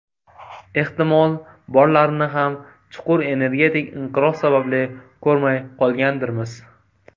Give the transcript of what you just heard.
Ehtimol, borlarini ham chuqur energetik inqiroz sababli ko‘rmay qolgandirmiz.